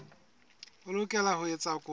o lokela ho etsa kopo